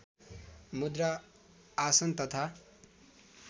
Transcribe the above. मुद्रा आसन तथा